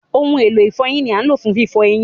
Ohun elo ifọyin ni a ń lo fun fifọ eyin.